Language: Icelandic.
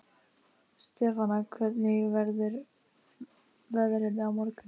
Stefana, hvernig verður veðrið á morgun?